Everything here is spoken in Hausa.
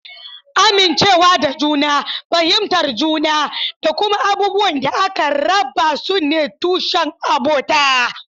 Amincewa da juna, fahimtar juna, da kuma abubuwan da aka raba su ne tushen abota.